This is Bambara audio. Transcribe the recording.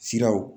Siraw